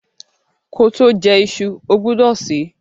Koto je isu, o gbúdò se